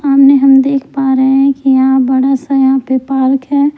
सामने हम देख पा रहे हैं कि यहां बड़ा सा यहां पे पार्क है।